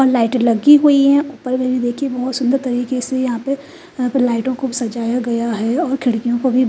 और लाइटें लगी हुई हैं ऊपर पहले देखिए बहुत सुन्दर तरीके से यहाँ पे यहाँ पर लाइटों को सजाया गया है और खिड़कियों को भी--